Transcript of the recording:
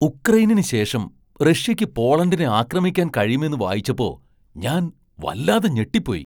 ഉക്രെയ്നിന് ശേഷം റഷ്യക്ക് പോളണ്ടിനെ ആക്രമിക്കാൻ കഴിയുമെന്ന് വായിച്ചപ്പോ ഞാൻ വല്ലാതെ ഞെട്ടിപ്പോയി.